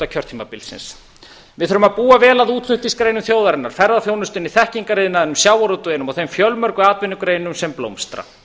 kjörtímabilsins við þurfum að búa vel að útflutningsgreinum þjóðarinnar ferðaþjónustunni þekkingariðnaðinum sjávarútveginum og þeim fjölmörgu atvinnugreinum sem blómstra